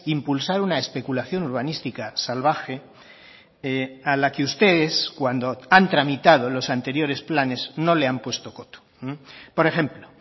impulsar una especulación urbanística salvaje a la que ustedes cuando han tramitado los anteriores planes no le han puesto coto por ejemplo